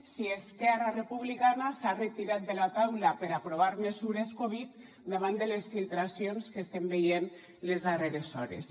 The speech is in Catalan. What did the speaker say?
si esquerra republicana s’ha retirat de la taula per aprovar mesures covid davant de les filtracions que estem veient les darreres hores